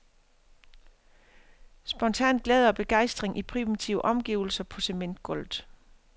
Spontan glæde og begejstring i primitive omgivelser på cementgulvet.